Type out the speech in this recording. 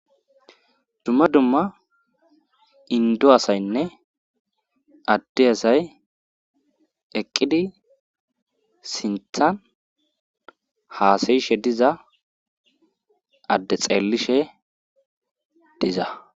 dumma dumma indo asaynne adde asay eqqidi sinthan haasayishe diza adde xeellishe diza